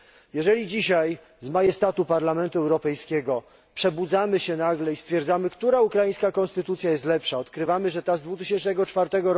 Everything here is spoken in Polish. Jeżeli dzisiaj z majestatu Parlamentu Europejskiego przebudzamy się nagle i stwierdzamy, która ukraińska konstytucja jest lepsza, i odkrywamy, że ta z 2004